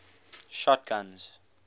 shotguns